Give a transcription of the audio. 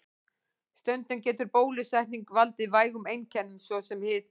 Stundum getur bólusetning valdið vægum einkennum, svo sem hita.